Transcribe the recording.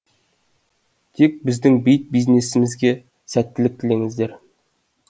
тек біздің бит бизнесімізге сәттілік тілеңіздер